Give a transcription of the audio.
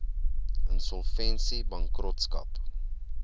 insolvensiebankrotskap